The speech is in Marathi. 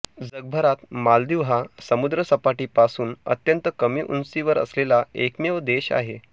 जगभरात मालदीव हा समुद्रसपाटीपासून अत्यंत कमी उंचीवर असलेला एकमेव देश आहे